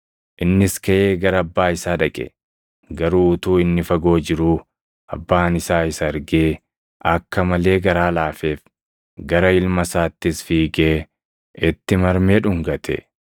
Innis kaʼee gara abbaa isaa dhaqe. “Garuu utuu inni fagoo jiruu abbaan isaa isa argee akka malee garaa laafeef; gara ilma isaattis fiigee itti marmee dhungate.